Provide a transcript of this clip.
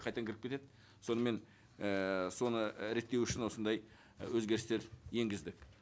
қайтадан кіріп кетеді сонымен ііі соны реттеу үшін осындай өзгерістер енгіздік